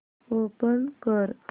open कर